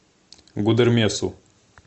гудермесу